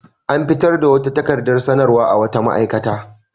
An fitar da wata takaradar sanarwa a wata ma'aikata.